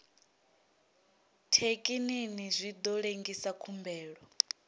thekinini zwi ḓo lengisa khumbelo